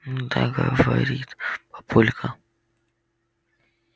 ну да говорит папулька